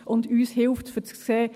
Aber uns hilft es, um zu sehen: